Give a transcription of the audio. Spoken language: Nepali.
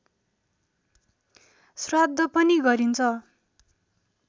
श्राद्ध पनि गरिन्छ